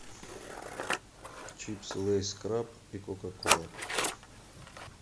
чипсы лейс краб и кока кола